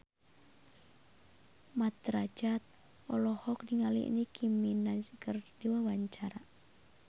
Mat Drajat olohok ningali Nicky Minaj keur diwawancara